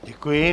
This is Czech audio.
Děkuji.